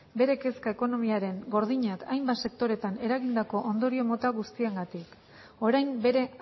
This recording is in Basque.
bere kezka ekonomiaren gordinak hainbat sektoretan eragindako ondorio mota guztiengatik orain bere